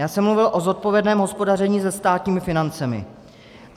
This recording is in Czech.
Já jsem mluvil o zodpovědném hospodaření se státními financemi.